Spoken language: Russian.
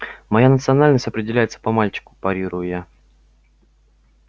моя национальность определяется по мальчику парирую я